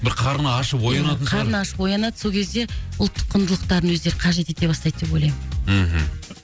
бір қарны ашып оянатын шығар ия қарны ашып оянады сол кезде ұлттық құндылықтарын өздері қажет ете бастайды деп ойлаймын мхм